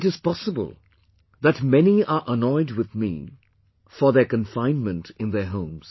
It is possible that many are annoyed with me for their confinement in their homes